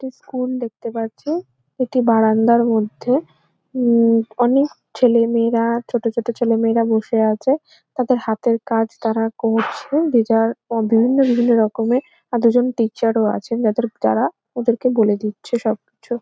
একটি স্কুল দেখতে পাচ্ছি একটি বারান্দার মধ্যে হুম অনেক ছেলেমেয়েরা ছোট ছোট ছেলেমেয়েরা বসে আছে তাদের হাতের কাজ তারা করছেন যে যার বিভিন্ন বিভিন্ন রকমের দুজন টীচার ও আছেন যাদের যারা ওদেরকে বলে দিচ্ছে সব কিছু।